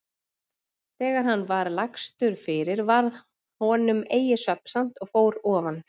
Þegar hann var lagstur fyrir varð honum eigi svefnsamt og fór ofan.